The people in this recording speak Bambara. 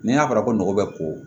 N'i y'a fɔra ko nɔgɔ bɛ ko